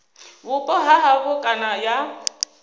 vhupo ha havho kana ya